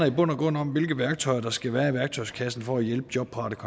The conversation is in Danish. i bund og grund om hvilke værktøjer der skal være i værktøjskassen for at hjælpe jobparate